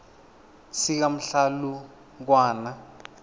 sikamhlalukwana